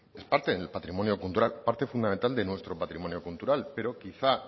es parte en el patrimonio cultural parte fundamental de nuestro patrimonio cultural pero quizá